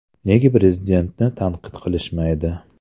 Nega Prezidentni tanqid qilishmaydi?